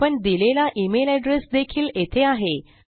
आपण दिलेला email address देखील येथे आहे